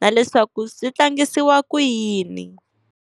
na leswaku swi tlangisiwa ku yini.